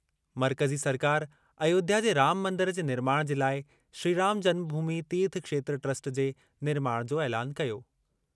मर्कज़ी सरकार अयोध्या जे राम मंदरु जे निर्माणु जे लाइ श्रीराम जन्मभूमि तीर्थ क्षेत्र ट्रस्ट जे निर्माण जो ऐलानु कयो।